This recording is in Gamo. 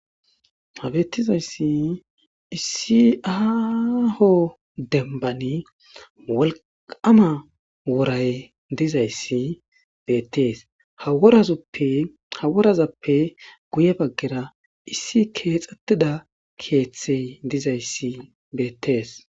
Ha beettizayssi issi aaho dembban wolqqama woray dizayssi beettes. Ha worazappe guye baggera issi keexettida keeththey dizayssi beettes.